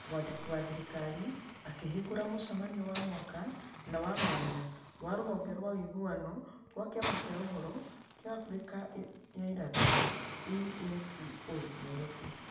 Mwandiki wa thirikari akĩhingũra mũcemanio wa mwaka na wa mwanya wa rũhonge rwa ũiguano rwa Kĩama kĩa Ũhoro kĩa Afrika ya Irathĩro (EACO) Nairofi.